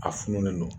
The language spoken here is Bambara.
A fununen don